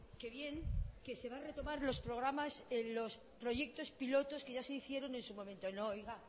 que bien que se va a retomar los programas los proyectos pilotos que ya se hicieron en su momento no oiga